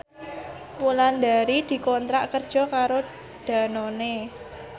Wulandari dikontrak kerja karo Danone